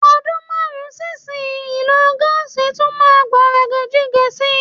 Ọdún márùn-ún sí ìsinyii, ìlò gáàsì tún máa gbọ̀nrẹ̀gẹ̀jigẹ̀ sí i.